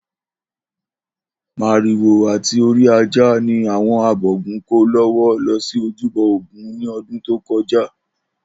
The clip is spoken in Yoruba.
Màrìwò àti orí ajá ni àwo̩n abògún kó ló̩wó̩ lo̩ sí ojúbo̩ Ògún ní o̩dún tó ko̩já